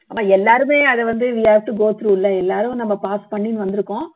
ஆனா எல்லாருமே அதை வந்த we have to go through இல்ல எல்லாரும் நம்ம pass பண்ணி வந்துருக்கோம்